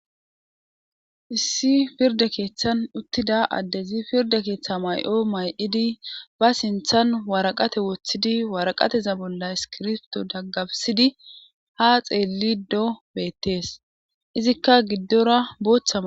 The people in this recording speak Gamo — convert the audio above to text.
Issi pirda keeththan uttida addezi pirda keeththa may7o may7idi ba sinthan waraqate woththidi waraqateza bolla iskirfto daggafsidi ha xeelli do beettees izikka giddora booththama